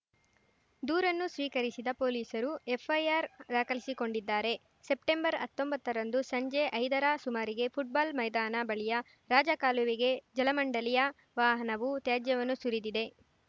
ದೂರನ್ನು ಸ್ವೀಕರಿಸಿದ ಪೊಲೀಸರು ಎಫ್‌ಐಆರ್‌ ದಾಖಲಿಸಿಕೊಂಡಿದ್ದಾರೆ ಸೆಪ್ಟೆಂಬರ್ಅತ್ತೊಂಬತ್ತರಂದು ಸಂಜೆ ಐದರ ಸುಮಾರಿಗೆ ಫುಟ್‌ಬಾಲ್‌ ಮೈದಾನ ಬಳಿಯ ರಾಜಕಾಲುವೆಗೆ ಜಲಮಂಡಳಿಯ ವಾಹನವು ತ್ಯಾಜ್ಯವನ್ನು ಸುರಿದಿದೆ